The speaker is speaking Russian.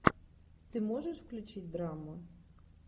ты можешь включить драму